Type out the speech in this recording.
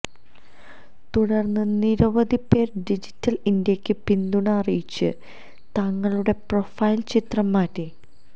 തുടര്ന്ന് നിരവധി പേര് ഡിജിറ്റല് ഇന്ത്യയ്ക്ക് പിന്തുണ അറിയിച്ച് തങ്ങളുടെ പ്രൊഫൈല് ചിത്രം മാറ്റി